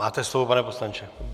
Máte slovo, pane poslanče.